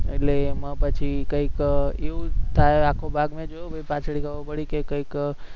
એટલે એમાં પછી કંઈક એવું થાય આખો ભાગ ન જોયો, પાછળ કંઈક